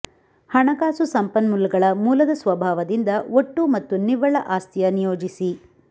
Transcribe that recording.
ಹಣಕಾಸು ಸಂಪನ್ಮೂಲಗಳ ಮೂಲದ ಸ್ವಭಾವದಿಂದ ಒಟ್ಟು ಮತ್ತು ನಿವ್ವಳ ಆಸ್ತಿಯ ನಿಯೋಜಿಸಿ